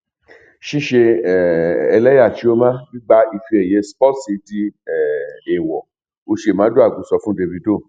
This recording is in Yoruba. ṣíṣe um ẹlẹyà chioma gbígba ife ẹyẹ sportsy di um èèwọ uche maduagwu sọ fún dávido